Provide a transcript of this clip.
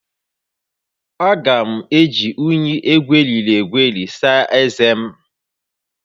M ga-eji unyi egweriri egweri saa ezé m